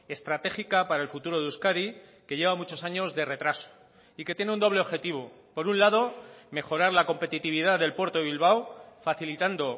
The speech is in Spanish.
estratégica para el futuro de euskadi que lleva muchos años de retraso y que tiene un doble objetivo por un lado mejorar la competitividad del puerto de bilbao facilitando